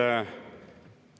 Nii.